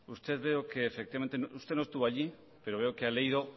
usted no estuvo allí pero veo que ha leído